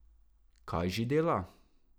Kaj že dela?